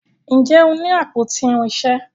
Njé o ní àpótí irinṣẹ?